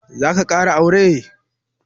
Zaka ƙara aure?